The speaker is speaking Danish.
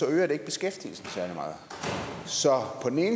øger det ikke beskæftigelsen særlig meget